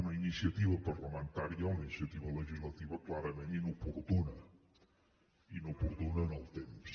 una iniciativa parlamentària una iniciativa legislativa clarament inoportuna inoportuna en el temps